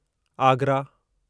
Agra